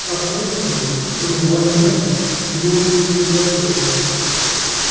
как выяснилось кроме блондинок у него ничего не котируется